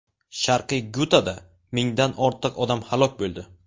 Sharqiy Gutada mingdan ortiq odam halok bo‘ldi.